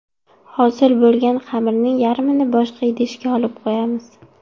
Hosil bo‘lgan xamirning yarmini boshqa idishga olib qo‘yamiz.